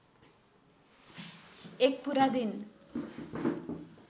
एक पुरा दिन